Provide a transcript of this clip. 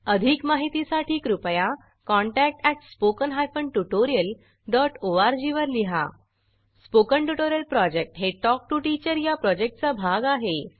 अधिक माहितीसाठी कृपया contact at spoken hyphen tutorial dot O R G वर लिहा स्पोकन ट्युटोरियल प्रॉजेक्ट हे टॉक टू टीचर या प्रॉजेक्टचा भाग आहे